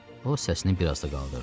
O səsini biraz da qaldırdı.